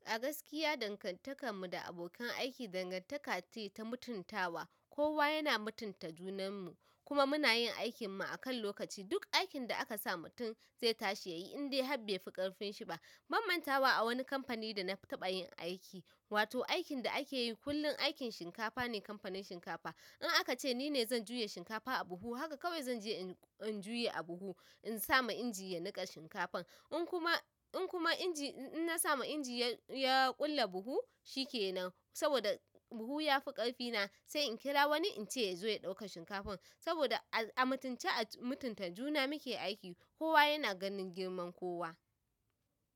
A gaskiya dangantakar mu da abokan aiki dangantaka ce ta mutuntawa. Kowa yana mutunta junan mu kuma muna yin aikin mu a kan lokaci. Duk aikin da aka sa mutum zai tashi ya yi indai habai fi ƙarfin shi ba. Mamman tawa a wani kamfani da na taɓa yin aiki, wato aikin da ake yi kullum aikin shinkafa ne. Kamfanin shinkafa. In aka ce ni ne zan juya shinkafa a buhu, haka kawai zan je in juya a buhu. In na samu inji ya niƙa shinkafan, in kuma. In kuma inji in na sama inji ya ƙulle buhu shi ke nan. Saboda buhu ya fi ƙarfina sai in kira wani in ce ya zo ya ɗauka shinkafan. Saboda a mutunta junan mu muke aiki. Kowa yana ganin girman kowa.